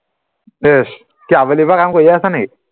কি আবেলিৰপৰা কামে কৰি আছা নি